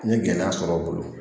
N ye gɛlɛya sɔrɔ o bolo